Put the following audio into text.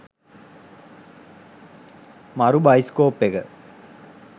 මරු බයිස්කෝප් එක.